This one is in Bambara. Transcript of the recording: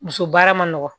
Muso baara ma nɔgɔ